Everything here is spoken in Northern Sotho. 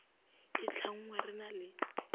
e tlhanngwe re na le